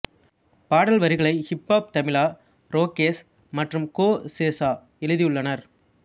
பாடல் வரிகளை ஹிப்ஹாப் தமிழா ரோகேஷ் மற்றும் கோ சேஷா எழுதியுள்ளனர்